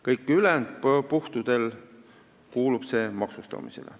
Kõigil ülejäänud puhkudel kuulub see maksustamisele.